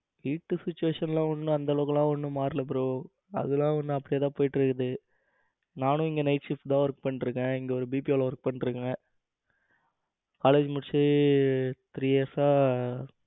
வீட்டு situation எல்லாம் ஒன்னு அந்த அளவுக்கு எல்லாம் ஒன்னும் மாறல bro அதெல்லாம் இன்னும் அப்படியே தான் போயிட்டு இருக்குது. நானும் எங்க night shift தான் work பண்ணிக்கிட்டு இருக்கேன். இங்க ஒரு BPO ல ஒர்க் பண்ணிட்டு இருக்கேன் college முடிச்சு three years சா